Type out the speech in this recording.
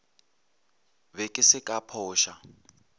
be ke se ka phoša